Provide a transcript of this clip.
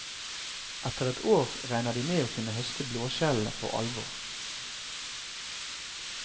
Etter et år regner de med å kunne høste blåskjellene for alvor.